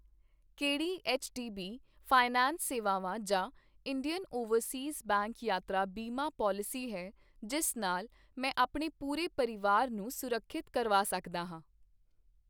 ਕਿਹੜੀ HDB finance ਸੇਵਾਵਾਂ ਜਾਂ ਇੰਡੀਅਨ ਓਵਰਸੀਜ਼ ਬੈਂਕ ਯਾਤਰਾ ਬੀਮਾ ਪਾਲਿਸੀ ਹੈ ਜਿਸ ਨਾਲ ਮੈਂ ਆਪਣੇ ਪੂਰੇ ਪਰਿਵਾਰ ਨੂੰ ਸੁਰੱਖਿਅਤ ਕਰਵਾ ਸਕਦਾ ਹਾਂ ?